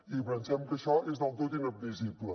i pensem que això és del tot inadmissible